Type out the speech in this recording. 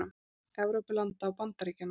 Evrópulanda og Bandaríkjanna.